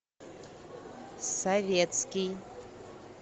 советский